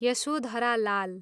Yashodhara Lal